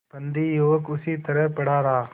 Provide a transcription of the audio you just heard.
बंदी युवक उसी तरह पड़ा रहा